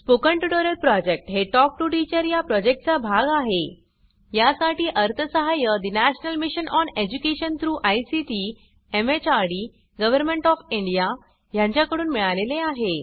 spoken tutorial project हे talk to teacher या प्रॉजेक्टचा भाग आहेयासाठी अर्थसहाय्य national mission on education through ICT MHRD government of India यांच्याकडून मिळालेले आहे